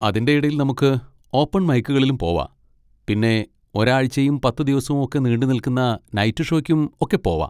അതിൻ്റെ ഇടയിൽ നമുക്ക് ഓപ്പൺ മൈക്കുകളിലും പോവാ, പിന്നെ ഒരാഴ്ചയും പത്തുദിവസവും ഒക്കെ നീണ്ടുനിൽക്കുന്ന നൈറ്റ് ഷോക്കും ഒക്കെ പോവാ.